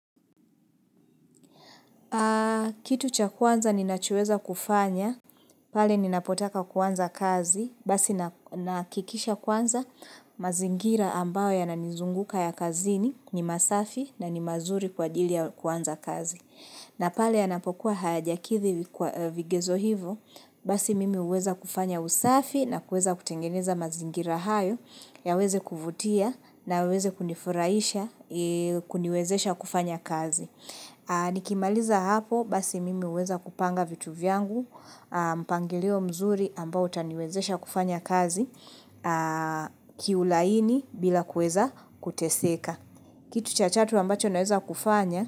Kitu cha kwanza ninachoweza kufanya, pale ninapotaka kuanza kazi, basi nahakikisha kwanza mazingira ambayo yananizunguka ya kazini ni masafi na ni mazuri kwa ajili ya kuanza kazi. Na pale yanapokuwa hajakidhi vigezo hivyo, basi mimi huweza kufanya usafi na kuweza kutengeneza mazingira hayo yaweze kuvutia na yaweze kunifurahisha kuniwezesha kufanya kazi. Nikimaliza hapo basi mimi huweza kupanga vitu vyangu mpangilio mzuri ambao utaniwezesha kufanya kazi kiulaini bila kuweza kuteseka. Kitu cha tatu ambacho naweza kufanya.